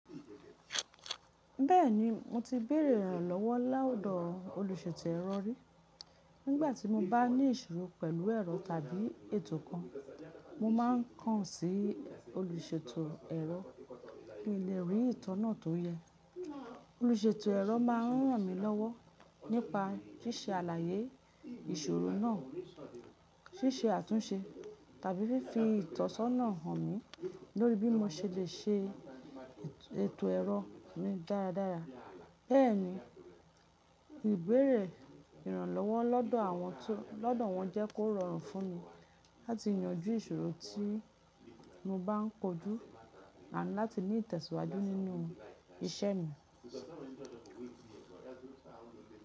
Bẹ́ẹ̀ni, mo ti béèrè ìrànlọ́wọ́ lọ̀dò olùṣètò ẹ̀rọ rí. Nígbà tí mo bá ní ìṣòro pẹ̀lú ẹ̀rọ tàbí ètò kan, mo máa ń kàn sí olùṣètò ẹ̀rọ, kí n lè rí ìtọ́nà tó yẹ. Olùṣètò ẹ̀rọ máa ń ràn mí lọ́wọ́ nípa ṣíṣe àlàyé ìṣòro náà, ṣíṣe àtúnṣe tàbí fífi ìtọ́sọ́nà hàn mí lórí bí mo ṣe lè ṣe ètò ẹ̀rọ mi dáradára. Bẹ́ẹ̀ni, ìbéèrè ìrànlọ́wọ́ lọ́dọ̀ wọn jẹ́ kó rọrùn fún mi láti yanjú ìṣòro tí mo bá ń kojú àti láti ní ìtẹ̀síwájú nínú iṣẹ́ mi.